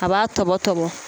A b'a tɔbɔ tɔbɔ.